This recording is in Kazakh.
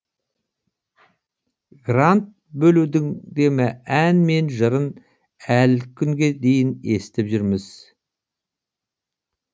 грант бөлудің де ән мен жырын әлі күнге дейін естіп жүрміз